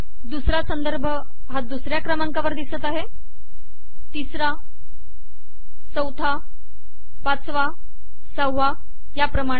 दुसरा संदर्भ हा दुसर्या क्रमांकावर दिसत आहे तिसरा चौथा पाचाव साहवा याप्रमाणे